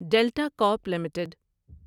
delta Corp limited